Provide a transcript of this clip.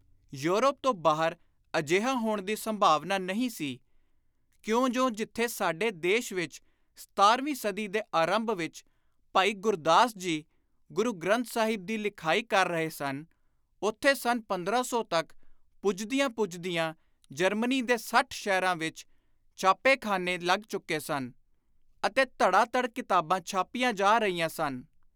Europe ਤੋਂ ਬਾਹਰ ਅਜਿਹਾ ਹੋਣ ਦੀ ਸੰਭਾਵਨਾ ਨਹੀਂ ਸੀ ਕਿਉਂਜੁ ਜਿਥੇ ਸਾਡੇ ਦੇਸ਼ ਵਿਚ ਸਤਾਰ੍ਹਵੀਂ ਸਦੀ ਦੇ ਆਰੰਭ ਵਿਚ ਭਾਈ ਗੁਰਦਾਸ ਜੀ ਗੁਰੂ ਗ੍ਰੰਥ ਸਾਹਿਬ ਦੀ ਲਿਖਾਈ ਕਰ ਰਹੇ ਸਨ, ਉਥੇ ਸੰਨ 1500 ਤਕ ਪੁੱਜਦਿਆਂ ਪੁੱਜਦਿਆਂ ਜਰਮਨੀ ਦੇ ਸੱਠ ਸ਼ਹਿਰਾਂ ਵਿਚ ਛਾਪੇਖ਼ਾਨੇ ਲੱਗ ਚੁੱਕੇ ਸਨ ਅਤੇ ਧੜਾ ਧੜ ਕਿਤਾਬਾਂ ਛਾਪੀਆਂ ਜਾ ਰਹੀਆਂ ਸਨ।